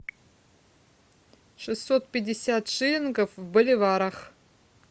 шестьсот пятьдесят шиллингов в боливарах